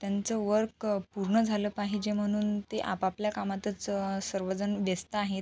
त्यांच वर्क अ पूर्ण झाल पाहिजे म्हणून ते आपआपल्या कामातच अ सर्वजण व्यस्त आहेत.